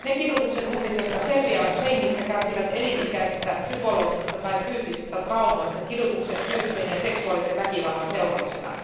Ne kidutuksen uhrit, jotka selviävät hengissä, kärsivät elinikäisistä psykologisista tai fyysisistä traumoista kidutuksen, fyysisen ja seksuaalisen väkivallan seurauksena.